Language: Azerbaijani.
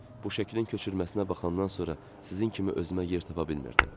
Bu şəklin köçürməsinə baxandan sonra sizin kimi özümə yer tapa bilmirdim.